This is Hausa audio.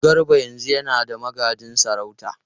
Garba yanzu yana da magajin sarauta.